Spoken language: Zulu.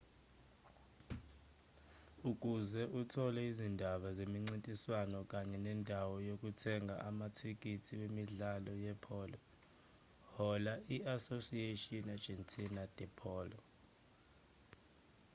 ukuze uthole izindaba zemincintiswano kanye nendawo yokuthenga amathikithi wemidlalo yepholo hlola i-asociacion argentina de polo